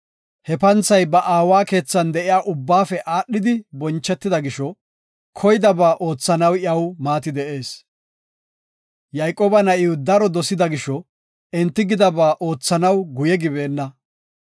He panthay ba aawa keethan de7iya ubbaafe aadhidi bonchetida gisho koydaba oothanaw iyaw maati de7ees. Yayqooba na7iw daro dosida gisho, enti gidaba oothanaw guye gibeenna.